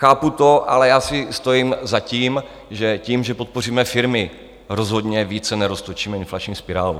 Chápu to, ale já si stojím za tím, že tím, že podpoříme firmy, rozhodně více neroztočíme inflační spirálu.